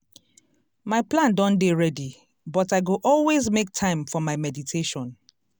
my plan don dey ready but i go always make time for my meditation.